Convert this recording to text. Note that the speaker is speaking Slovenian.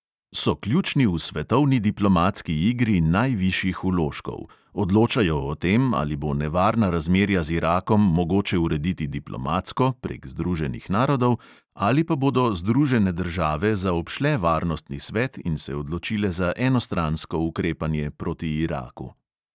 So ključni v svetovni diplomatski igri najvišjih vložkov: odločajo o tem, ali bo nevarna razmerja z irakom mogoče urediti diplomatsko, prek združenih narodov; ali pa bodo združene države zaobšle varnostni svet in se odločile za enostransko ukrepanje proti iraku.